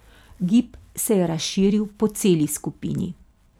Gib se je razširil po celi skupini.